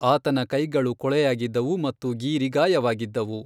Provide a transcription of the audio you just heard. ಆತನ ಕೈಗಳು ಕೊಳೆಯಾಗಿದ್ದವು ಮತ್ತು ಗೀರಿ ಗಾಯವಾಗಿದ್ದವು.